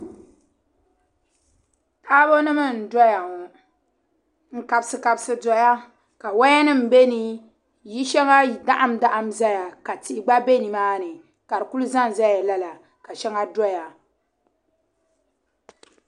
Taabɔ nim n-doya ŋɔ n kabsi kabsi doya kawaya nim beni yili shaŋa dahim dahim zaya ka tihi gba be nimaani ka di ku zanzaya lala ka shaŋa doya.